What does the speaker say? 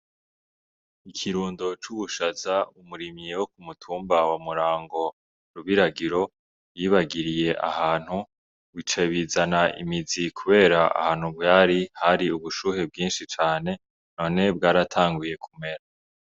Ikirundo c'uwushaza umurimyi wo kumutumba wa murango rubiragiro yibagiriye ahantu wica bizana imizi, kubera ahantu bwari hari ubushuhe bwinshi cane none bwaratanguye kumera.